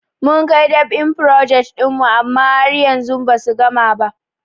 Mun kai dab'in frojet ɗin mu amma har yanzu basu gama ba.